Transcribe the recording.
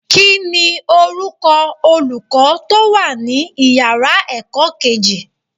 Kíni orúkọ Olùkọ́ tó wà ní ìyára ẹ̀kọ́ kejì?